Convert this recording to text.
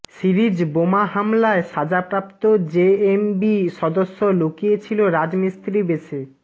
series বোমা হামলায় সাজাপ্রাপ্ত জেএমবি সদস্য লুকিয়ে ছিল রাজমিস্ত্রি বেশে